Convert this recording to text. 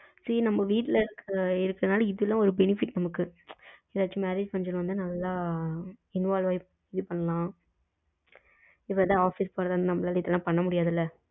see நம்ம வீட்டுல இருக்கறதுனால இது எல்லாம் benefit நம்மளுக்கு ஏதாவது marriage function வந்த நல்ல involve ஆகி இது பண்ணலாம் ஆபீஸ் போன இதுயெல்லாம் பண்ணமுடியாதுள்ள.